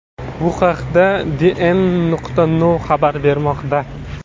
Bu haqda DN.no xabar bermoqda .